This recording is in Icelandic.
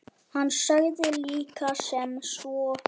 Hann sagði líka sem svo